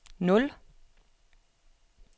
nul